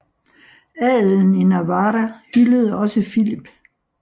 Adelen i Navarra hyldede også Filip